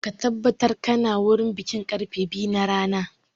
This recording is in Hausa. Ka tabbatar ka na wurin bikin karfe biyu na rana!